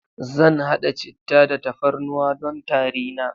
Zan haɗa cittah da tafarnuwa don tari na.